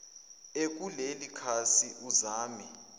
ekuleli khasi uzame